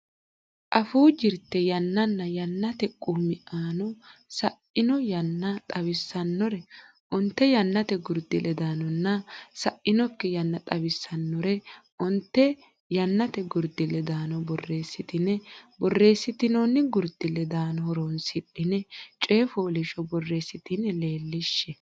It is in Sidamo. Afuu Jirte Yannanna Yannate Qummiano Sa ino yanna xawissannore onte yannate gurdi ledaanonna sa inokki yanna xawissannore onte yannate gurdi ledaano borreessitine borreessitinoonni gurdi ledaano horonsidhine coy fooliishsho borreessitine leellishshe.